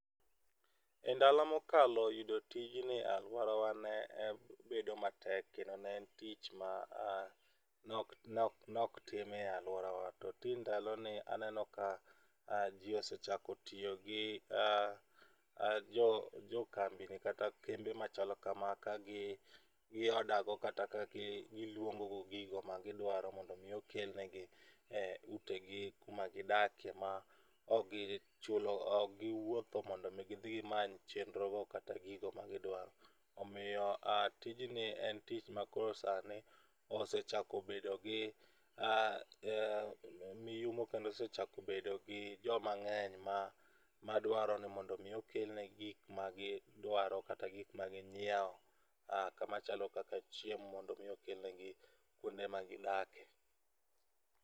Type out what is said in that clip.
Endalo mokalo yudo tijni e aluorawa ne bedo matek kendo ne en tich ma ok tim e aluorawa to tinde ndaloni aneno ka ji osechako tiyo gi jo kambini kata kembe machalo kama ka go order go kata ka giluongo go gigo ma gidwaro mondo mi okelnegi e utegi kuonde ma gidakie kaok giwuotho mondo mi gidhi gimany chenrogo kata gigo ma gidwaro. Omiyo tijni en tich makoro sani osechako bedo gi miyumo kendo osechako bedo gi joma ng'eny madwaro ni mondo mi okel negi gik ma gidwaro kata gik ma ginyiewo machalo kaka chiemo mondo mi okelnegi kuonde ma gidakie.